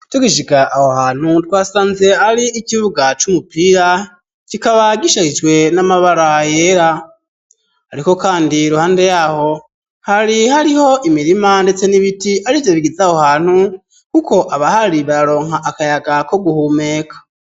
Tugishika aho hantu twasanze ari ikibuga c'umupira kikaba gishashijwe n'amabara yera ariko kandi kuhande yaho hari hariho imirima ndetse n'ibiti ariyo bigize aho hantu kuko aba hari bararonka akayaga ko guhumeka.